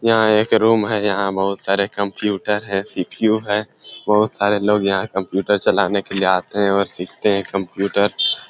यहाँ एक रूम है यहाँ बहुत सारे कंप्यूटर है सी.पी.यु. है बहुत सारे लोग यहाँ कंप्यूटर चलाने के लिए आते है और सीखते है कंप्यूटर।